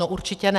No určitě ne.